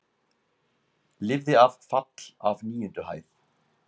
Lifði af fall af níundu hæð